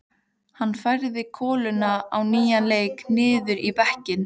Hann færði koluna á nýjan leik niður í bekkinn.